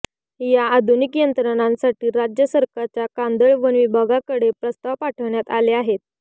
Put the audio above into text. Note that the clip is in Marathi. या आधुनिक यंत्रणासाठी राज्य सरकारच्या कांदळवन विभागाकडे प्रस्ताव पाठवण्यात आले आहेत